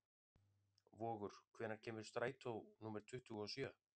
Vogur, hvenær kemur strætó númer tuttugu og sjö?